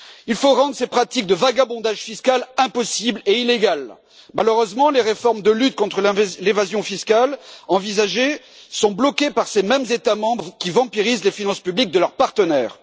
Il faut rendre ces pratiques de vagabondage fiscal impossibles et illégales. Malheureusement, les réformes de lutte contre l'évasion fiscale envisagées, sont bloquées par ces mêmes États membres qui vampirisent les finances publiques de leurs partenaires.